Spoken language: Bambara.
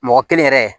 Mɔgɔ kelen yɛrɛ